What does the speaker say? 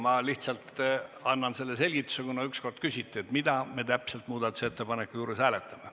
Ma lihtsalt selgitan seda, kuna ükskord küsiti, mida täpselt me muudatusettepaneku puhul hääletame.